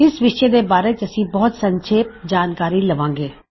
ਇਸ ਵਿਸ਼ੇ ਦੇ ਬਾਰੇ ਅਸੀ ਬਹੁਤ ਸੰਖੇਪ ਵਿੱਚ ਜਾਨਕਾਰੀ ਲਵਾਂ ਗੇ